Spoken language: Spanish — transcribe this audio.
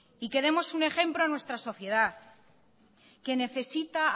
y que demos un ejemplo a nuestra sociedad que necesita